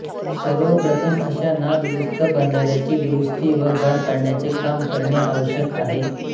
सर्व प्रथम अशा नादुरुस्त बंधाऱ्यांची दुरुस्ती व गाळ काढण्याचे काम करणे आवश्यक आहे